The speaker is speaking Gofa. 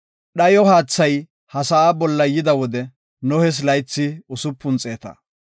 Dhayo haathay ha sa7aa bolla yida wode Nohes laythi usupun xeeta.